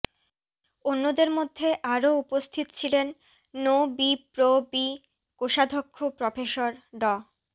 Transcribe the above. অন্যদের মধ্যে আরও উপস্থিত ছিলেন নোবিপ্রবি কোষাধ্যক্ষ প্রফেসর ড